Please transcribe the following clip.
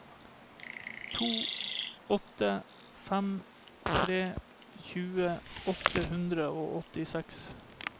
to åtte fem tre tjue åtte hundre og åttiseks